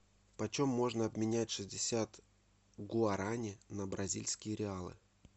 почем можно обменять шестьдесят гуарани на бразильские реалы